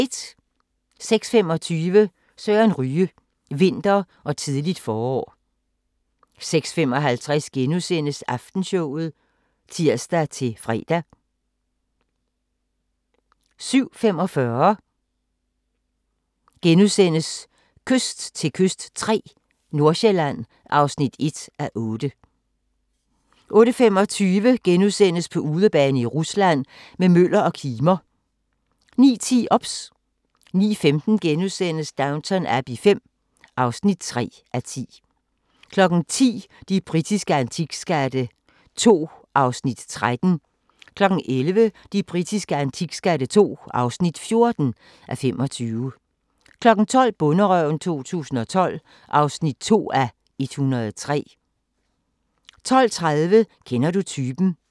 06:25: Søren Ryge: vinter og tidligt forår 06:55: Aftenshowet *(tir-fre) 07:45: Kyst til kyst III – Nordsjælland (1:8)* 08:25: På udebane i Rusland – med Møller og Kimer * 09:10: OBS 09:15: Downton Abbey V (3:10)* 10:00: De britiske antikskatte II (13:25) 11:00: De britiske antikskatte II (14:25) 12:00: Bonderøven 2012 (2:103) 12:30: Kender du typen?